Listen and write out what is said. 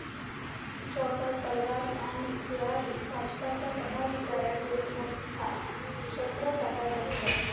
chopper, तलवारी आणि कुऱ्हाडी...भाजपच्या पदाधिकाऱ्याकडून मोठा शस्त्रसाठा जप्त